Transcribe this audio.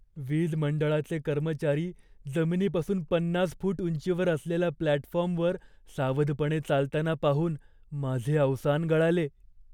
वीज मंडळाचे कर्मचारी जमिनीपासून पन्नास फूट उंचीवर असलेल्या प्लॅटफॉर्मवर सावधपणे चालताना पाहून माझे अवसान गळाले.